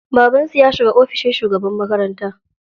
Babansu ya shiga ofishin shugaban makaranta.